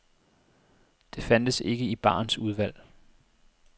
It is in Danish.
Det fandtes ikke i barens udvalg.